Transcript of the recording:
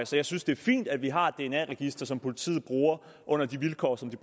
så jeg synes det er fint at vi har et dna register som politiet bruger under de vilkår som de